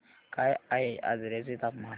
काय आहे आजर्याचे तापमान